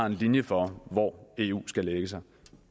en linje for hvor eu skal lægge sig